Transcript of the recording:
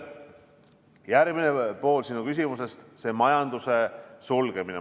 Järgmine pool sinu küsimusest on majanduse sulgemise kohta.